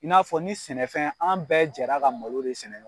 I n'a fɔ ni sɛnɛfɛn an bɛɛ jɛra ka malo de sɛnɛ